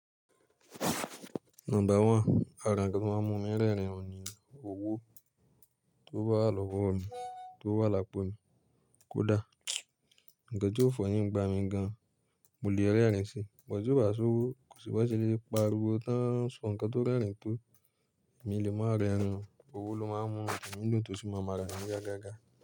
Number one, àra nkan tí o máa ń mú mi rẹ́rìn-ín ò ní ní owó tó bá lòwó mi ti owo wà lápò mi kódà. Nkan ti ó funny nigba mi gan, mo lè rẹ́rìn-ín si, but ti ó bá ṣowó, kò si bon ṣe lè parí wo tán, sọ nǹkan tó rẹ́rìn-ín to emi lè máa rẹ́rìn-ín, owó ló máa ń mú mi ninu dùn tó sì máa n marà mí yagágá.